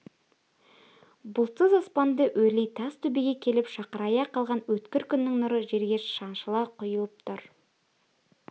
бұлтсыз аспанды өрлей тас төбеге келіп шақырая қалған өткір күннің нұры жерге шаншыла құйылып тұр